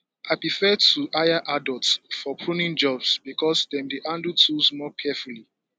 i prefer to hire adults for pruning jobs because dem dey handle tools more carefully